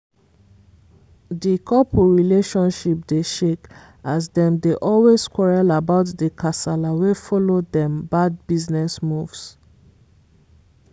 di couple relationship dey shake as dem dey always quarrel about the kasala wey follow dem bad business moves.